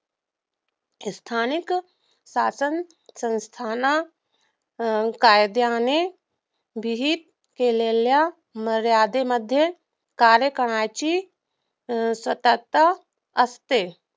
स्थानिक शासनसंस्थाना कायद्याने विहित केलेल्या मर्यादेमध्ये कार्यकालाची अं सत्ता असते